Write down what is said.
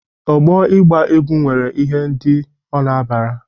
Ọgbọ ịgba egwụ nwere ihe ndị ọ na-abara.